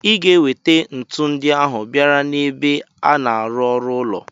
Iga ewete ntu ndi ahu bisra n' ebe ana arụ ụlọ!!